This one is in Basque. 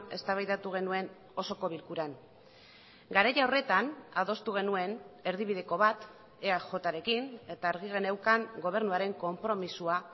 eztabaidatu genuen osoko bilkuran garai horretan adostu genuen erdibideko bat eajrekin eta argi geneukan gobernuaren konpromisoa